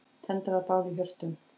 Tendrað bál í hjörtum.